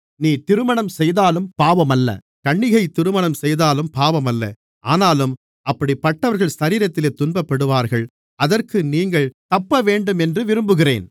நீ திருமணம் செய்தாலும் பாவமல்ல கன்னிகை திருமணம் செய்தாலும் பாவமல்ல ஆனாலும் அப்படிப்பட்டவர்கள் சரீரத்திலே துன்பப்படுவார்கள் அதற்கு நீங்கள் தப்பவேண்டும் என்று விரும்புகிறேன்